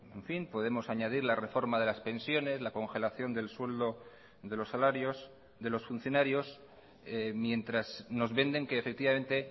en fin podemos añadir la reforma de las pensiones la congelación del sueldo de los salarios de los funcionarios mientras nos venden que efectivamente